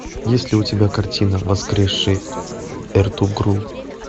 есть ли у тебя картина воскресший эртугрул